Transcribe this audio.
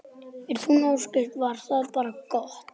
Æðruleysi þessara almúgamanna bar hann ofurliði.